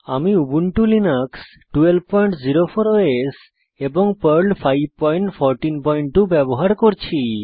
আমি Ubuntu Linux 1204 OS এবং Perl 5142 ব্যবহার করছি